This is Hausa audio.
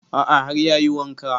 A'a har ya yi wanka